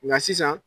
Nka sisan